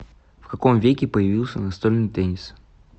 в каком веке появился настольный теннис